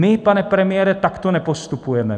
My, pane premiére, takto nepostupujeme.